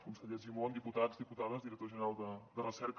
conseller argimon diputats diputades director general de recerca